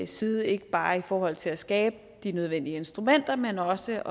side ikke bare i forhold til at skabe de nødvendige instrumenter men også